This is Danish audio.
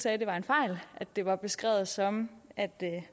at det var en fejl at det var beskrevet som at